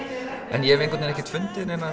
en ég hef einhvern veginn ekkert fundið